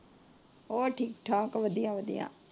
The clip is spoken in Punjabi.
ਹੋਰ ਠੀਕ ਠਾਕ ਵਧੀਆ ਵਧੀਆ।